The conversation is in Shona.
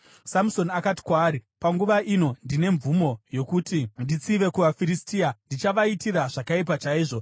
Samusoni akati kwaari, “Panguva ino ndine mvumo yokuti nditsive kuvaFiristia; ndichavaitira zvakaipa chaizvo.”